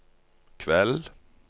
kveld